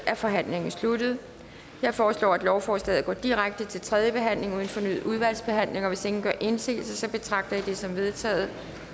er forhandlingen sluttet jeg foreslår at lovforslaget går direkte til tredje behandling uden fornyet udvalgsbehandling hvis ingen gør indsigelse betragter jeg det som vedtaget